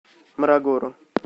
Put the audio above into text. морогоро